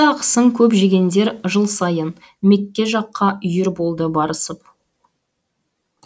ақысын көп жегендер жыл сайын мекке жаққа үйір болды барысып